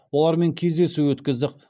олармен кездесу өткіздік